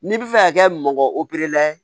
N'i bi fɛ ka kɛ mɔgɔ ye